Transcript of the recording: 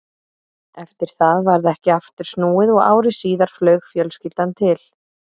Eftir það varð ekki aftur snúið og ári síðar flaug fjölskyldan til